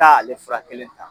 Taa ale furakɛli in na